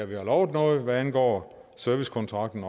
vi har lovet noget hvad angår servicekontrakten